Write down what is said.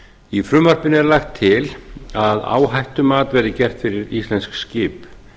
í frumvarpinu er lagt til að áhættumat verði gert fyrir íslensk skip